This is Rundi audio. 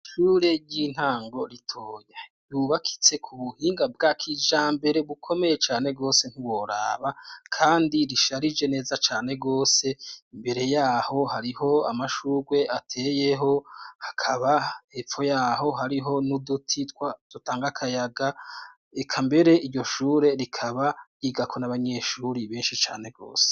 ishure ry'intango ritoye yubakitse ku buhinga bwakijambere bukomeye cane gose ntuworaba kandi risharije neza cane gose , imbere yaho harih' amashurw' ateyeho hakaba epfo yaho hariho n' ibiti bitanga kayaga, eka mber' iryo shure rikaba rinini bisankaho ryigako n'abanyeshuri benshi cane gose hari n' akayira gaca hagati y' amashurwe.